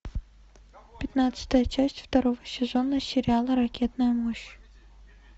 пятнадцатая часть второго сезона сериала ракетная мощь